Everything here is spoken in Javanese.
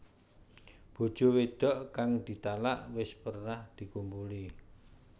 Bojo wedok kang ditalak wis pernah dikumpuli